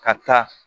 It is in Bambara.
Ka taa